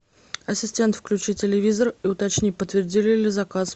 ассистент включи телевизор и уточни подтвердили ли заказ